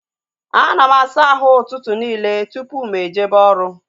A na m asa ahụ ụtụtụ nille tupu m ejebe oru